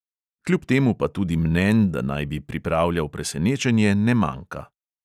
Kljub temu pa tudi mnenj, da naj bi pripravljal presenečenje, ne manjka.